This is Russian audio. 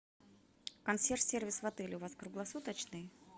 консьерж сервис в отеле у вас круглосуточный